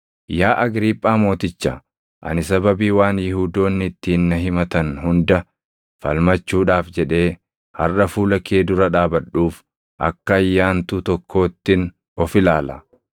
“Yaa Agriiphaa Mooticha, ani sababii waan Yihuudoonni ittiin na himatan hunda falmachuudhaaf jedhee harʼa fuula kee dura dhaabadhuuf akka ayyaantuu tokkoottin of ilaala.